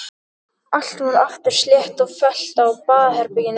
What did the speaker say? Allt varð aftur slétt og fellt á baðherberginu.